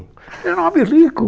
Era um homem rico.